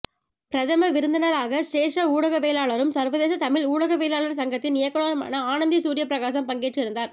பிரதம விருந்தினராக சிரேஷ்ட ஊடகவியலாளரும் சர்வதேச தமிழ் ஊடகவியலாளர் சங்கத்தின் இயக்குனருமான ஆனந்தி சூரியபிரகாசம் பங்கேற்றிருந்தார்